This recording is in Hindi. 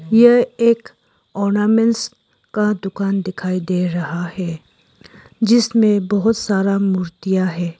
ये एक ऑर्नामेंट्स का दुकान दिखाई दे रहा है जिसमें बहुत सारा मूर्तियां है।